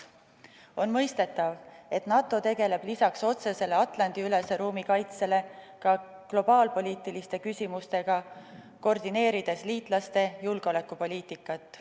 On mõistetav, et NATO tegeleb lisaks otsesele Atlandi-ülese ruumi kaitsele ka globaalpoliitiliste küsimustega, koordineerides liitlaste julgeolekupoliitikat.